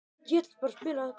Þín, Nína Katrín.